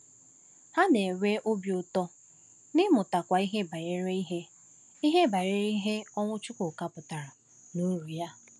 Ha na-enwe obi ụtọ n’ịmụtakwu ihe banyere ihe ihe banyere ihe ọnwụ Chukwuka pụtara na uru ya.